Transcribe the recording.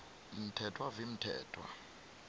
mthethwa v mthethwa